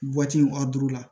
a duuru la